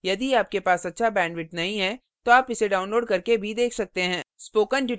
यदि आपके पास अच्छा bandwidth नहीं है तो आप इसे download करके देख सकते हैं